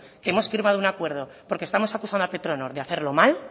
que hemos firmado un acuerdo porque estamos acusando a petronor de hacerlo mal